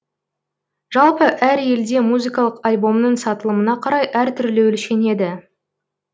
жалпы әр елде музыкалық альбомның сатылымына қарай әр түрлі өлшенеді